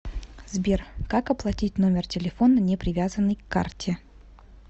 сбер как оплатить номер телефона не привязанный к карте